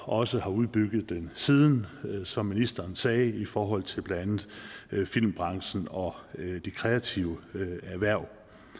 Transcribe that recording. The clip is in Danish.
også har udbygget den siden som ministeren sagde i forhold til blandt andet filmbranchen og de kreative erhverv